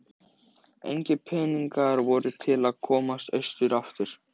Hámundur, hvar er dótið mitt?